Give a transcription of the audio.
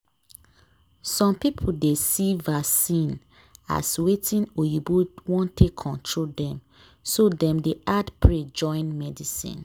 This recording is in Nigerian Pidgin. some people dey see vaccine as watin oyibo wan take control dem so dem dey add pray join medicine.